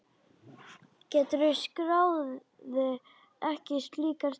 Gerður skráði ekki slíkar sölur.